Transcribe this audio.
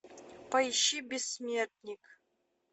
поищи бессмертник